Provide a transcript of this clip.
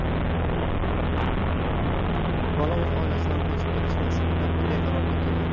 Bola o‘z oilasidan qochib ketish maqsadida bunday qarorga kelgan.